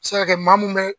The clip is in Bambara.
Se ka kɛ maa mun bɛ